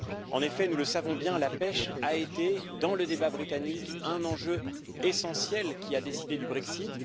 En effet, nous le savons bien, la pêche a été dans le débat britannique un enjeu essentiel qui a décidé du Brexit.